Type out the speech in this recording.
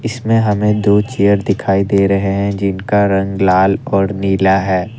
इसमें हमें दो चेयर दिखाई दे रहे हैं जिनका रंग लाल और नीला है।